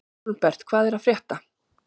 Hólmbert, hvað er að frétta?